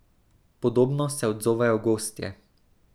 Podobno se odzovejo gostje.